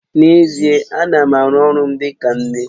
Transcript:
N'ezie, ana m aru ọrụ m dịka nne